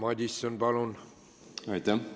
Aitäh!